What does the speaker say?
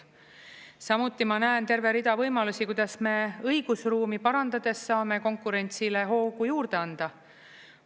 Samuti ma näen terve rida võimalusi, kuidas me õigusruumi parandades saame konkurentsile hoogu juurde anda.